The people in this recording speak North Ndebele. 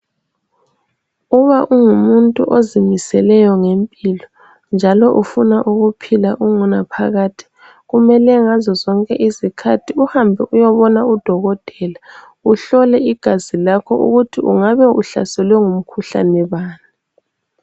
Uba ungumuntu ozimiseleyo ngempilo njalo ufuna ukuphila okunaphakade kumele ngazo zonke izikhathi uhambe uyebona kudokotela uhlole igazi lakho ukuthi ungabe uhlaselwe ngimkhuhlani bani.